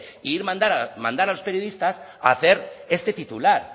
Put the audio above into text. y mandar a los periodistas a hacer este titular